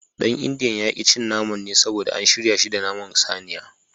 Dan indiyan ya ki cin naman ne saboda an shirya shi da naman saniya.